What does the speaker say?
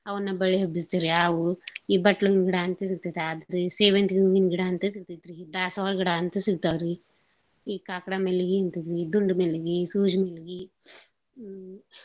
ಅವ್ನ ಬಳ್ಳಿ ಹಬ್ಬಸ್ತೇವ್ರಿ ಆ ಹೂವು ಈ ಬಟ್ಳ್ ಹೂವಿನ್ಗಿಡಾ ಅಂತ ಸಿಗ್ತೇತ್ ಆದ್ರೀ ಸೇವಂತ್ಗಿ ಹೂವಿನ್ಗಿಡಾ ಅಂತ ಸಿಗ್ತೇತ್ ದಾಸ್ವಾಳ್ಗಿಡ ಅಂತ ಸಿಗ್ತಾವ್ರೀ ಈ ಕಾಕ್ಡಾ ಮಲ್ಗಿ ದುಂಡ್ಮಲ್ಗೀ ಸೂಜ್ಮಲ್ಗೀ ಅ.